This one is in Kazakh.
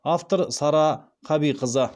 автор сара қабиқызы